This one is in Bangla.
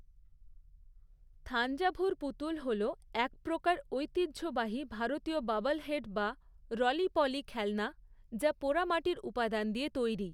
থাঞ্জাভুর পুতুল হল এক প্রকার ঐতিহ্যবাহী ভারতীয় ববলহেড বা রলি পলি খেলনা, যা পোড়ামাটির উপাদান দিয়ে তৈরি।